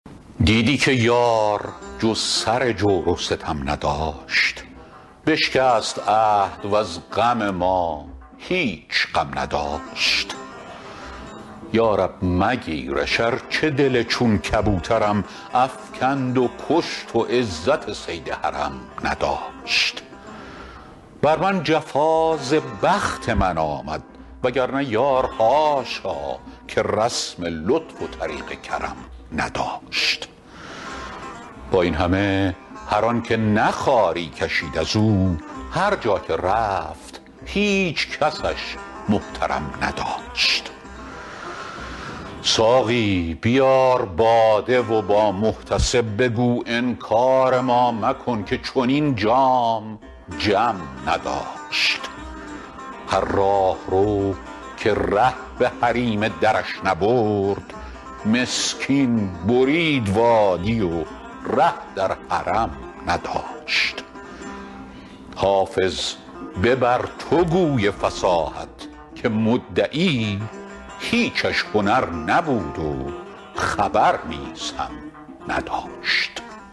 دیدی که یار جز سر جور و ستم نداشت بشکست عهد وز غم ما هیچ غم نداشت یا رب مگیرش ارچه دل چون کبوترم افکند و کشت و عزت صید حرم نداشت بر من جفا ز بخت من آمد وگرنه یار حاشا که رسم لطف و طریق کرم نداشت با این همه هر آن که نه خواری کشید از او هر جا که رفت هیچ کسش محترم نداشت ساقی بیار باده و با محتسب بگو انکار ما مکن که چنین جام جم نداشت هر راهرو که ره به حریم درش نبرد مسکین برید وادی و ره در حرم نداشت حافظ ببر تو گوی فصاحت که مدعی هیچش هنر نبود و خبر نیز هم نداشت